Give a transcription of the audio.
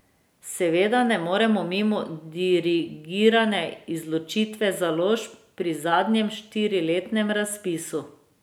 Seveda ne moremo mimo dirigirane izločitve založb pri zadnjem štiriletnem razpisu.